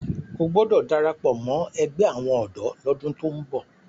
o gbódò darapọ mọ ègbé àwọn odò l'ọdun tó ń bó!